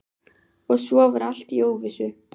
Og svo var allt í óvissu.